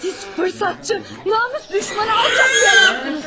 Siz fürsətçi, namus düşməni, alçaq bir adamsınız.